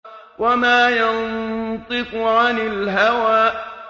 وَمَا يَنطِقُ عَنِ الْهَوَىٰ